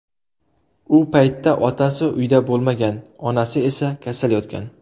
U paytda otasi uyda bo‘lmagan, onasi esa kasal yotgan.